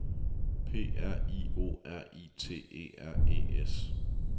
P R I O R I T E R E S